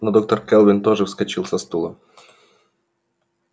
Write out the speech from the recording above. но доктор кэлвин тоже вскочил со стула